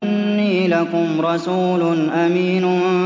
إِنِّي لَكُمْ رَسُولٌ أَمِينٌ